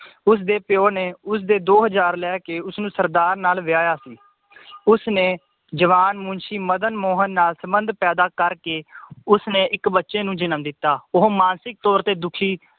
ਉਸਦੇ ਪਯੋ ਨੇ ਉਸਦੇ ਦੋ ਹਜਾਰ ਲੈਕੇ ਉਸਨੂੰ ਸਰਦਾਰ ਨਾਲ ਵਿਆਇਆ ਸੀ ਉਸਨੇ ਜਵਾਨ ਮੁਨਸ਼ੀ ਮਦਨ ਮੋਹਨ ਨਾਲ ਸੰਬੰਧ ਪੈਦਾ ਕਰਕੇ ਉਸਨੇ ਇਕ ਬੱਚੇ ਨੂੰ ਜਨਮ ਦਿੱਤਾ ਉਹ ਮਾਨਸਿਕ ਤੌਰ ਤੇ ਦੁਖੀ